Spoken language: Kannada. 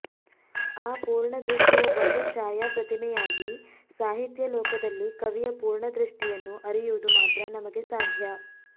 ಆ ಪೂರ್ಣದೃಷ್ಟಿಯ ಒಂದು ಛಾಯಾಪ್ರತಿಮೆಯಾಗಿ ಸಾಹಿತ್ಯಲೋಕದಲ್ಲಿ ಕವಿಯ ಪೂರ್ಣದೃಷ್ಟಿಯನ್ನು ಅರಿಯುವುದು ಮಾತ್ರ ನಮಗೆ ಸಾಧ್ಯ